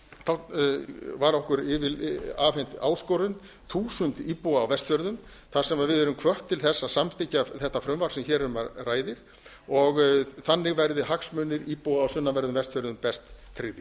tálknafjarðarhreppi var okkur afhent áskorun þúsund íbúa á vestfjörðum þar sem við erum hvött til þess að samþykkja þetta frumvarp sem hér er um ræðir og þannig verði hagsmunir íbúa á sunnanverðum vestfjörðum best tryggðir